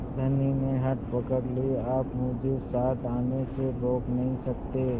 धनी ने हठ पकड़ ली आप मुझे साथ आने से रोक नहीं सकते